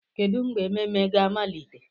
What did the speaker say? Kedu mgbe ememe na-amalite?